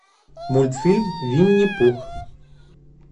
мультфильм винни пух